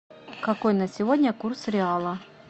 какой на сегодня курс реала